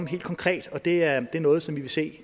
helt konkret og det er noget som vi vil se